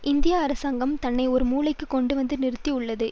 இந்திய அரசாங்கம் தன்னை ஒரு மூலைக்கு கொண்டுவந்து நிறுத்தி உள்ளது